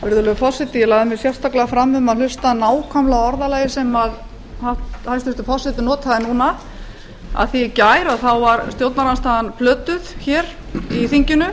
virðulegur forseti ég lagði mig sérstaklega fram um að hlusta nákvæmlega á orðalagið sem hæstvirtur forseti notaði núna af því að í gær var stjórnarandstaðan plötuð í þinginu